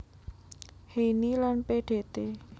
Heyni lan Pdt